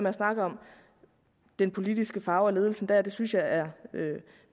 at snakke om den politiske farve og ledelsen dér det synes jeg er